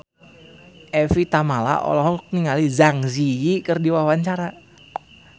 Evie Tamala olohok ningali Zang Zi Yi keur diwawancara